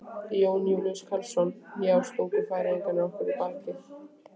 Jón Júlíus Karlsson: Já, stungu Færeyingar okkur í bakið?